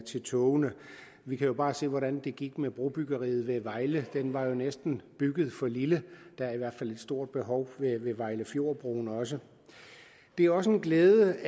til togene vi kan jo bare se hvordan det gik med brobyggeriet ved vejle den var jo næsten bygget for lille der er i hvert fald et stort behov ved vejlefjordbroen også det er også en glæde